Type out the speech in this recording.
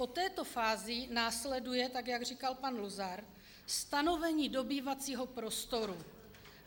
Po této fázi následuje, tak jak říkal pan Luzar, stanovení dobývacího prostoru.